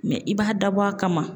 i b'a dabɔ a kama